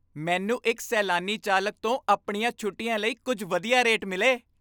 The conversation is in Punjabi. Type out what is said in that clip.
ਮੈਨੂੰ ਇੱਕ ਸੈਲਾਨੀ ਚਾਲਕ ਤੋਂ ਆਪਣੀਆਂ ਛੁੱਟੀਆਂ ਲਈ ਕੁੱਝ ਵਧੀਆ ਰੇਟ ਮਿਲੇ।